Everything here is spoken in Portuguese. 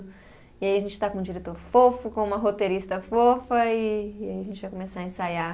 E aí a gente está com um diretor fofo, com uma roteirista fofa e, e aí a gente vai começar a ensaiar.